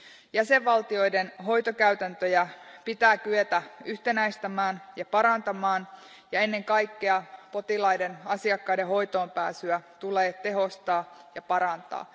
Jäsenvaltioiden hoitokäytäntöjä pitää kyetä yhtenäistämään ja parantamaan ja ennen kaikkea potilaiden, asiakkaiden, hoitoon pääsyä tulee tehostaa ja parantaa.